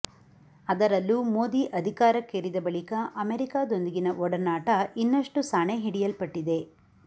ಅದರಲ್ಲೂ ಮೋದಿ ಅಧಿಕಾರಕ್ಕೇರಿದ ಬಳಿಕ ಅಮೆರಿಕಾದೊಂದಿಗಿನ ಒಡನಾಟ ಇನ್ನಷ್ಟು ಸಾಣೆ ಹಿಡಿಯಲ್ಟಟ್ಟಿದೆ